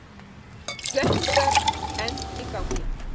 Slökkvistarf enn í gangi